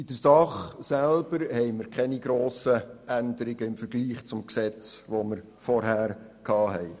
In der Sache selber gibt es keine grossen Änderungen im Vergleich zum vorherigen Gesetz.